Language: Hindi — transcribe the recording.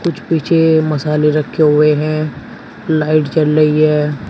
कुछ पीछे मसाले रखे हुए हैं लाइट जल रही है।